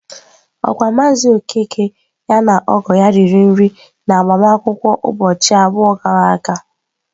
Okwa maazị Okeke ya na ọgọ ya riri nri n'agbamakwụkwọ ụbọchị abụọ gara aga?